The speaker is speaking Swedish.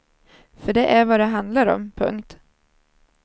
För det är vad det handlar om. punkt